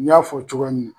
N y'a fɔ cogoya min na